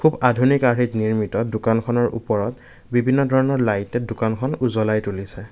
আধুনিক আৰ্হিত নিৰ্মিত দোকানখনৰ ওপৰত বিভিন্ন ধৰণৰ লাইটে দোকানখন উজ্বলাই তুলিছে।